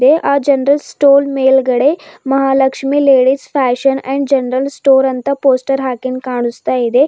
ಎ_ಆ general stall ಮೇಲ್ಗಡೆ Mahalakshmi ladies fashion and general store ಅಂತ poster ಹಾಕಿಂದ ಕಾಣಸ್ತಾಇದೆ.